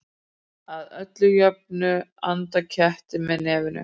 Að öllu jöfnu anda kettir með nefinu.